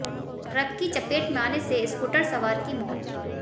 truck की चपेट में आने से स्कूटर सवार की मौत